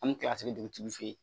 An bɛ kila dugutigiw fɛ yen